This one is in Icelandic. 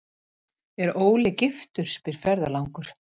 er Óli giftur, spyr ferðalangur.